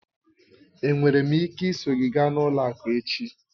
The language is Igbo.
Enwere m ike iso gị gaa ụlọ akụ echi?